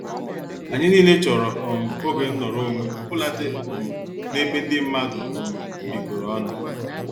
Anyị nile chọrọ um oge nọrọ onwe obuladi um n' ebe ndị mmadụ um bikoro ọnụ.